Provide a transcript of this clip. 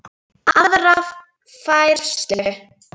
aðra færslu.